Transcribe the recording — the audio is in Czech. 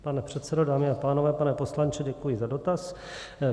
Pane předsedo, dámy a pánové, pane poslanče, děkuji za dotaz.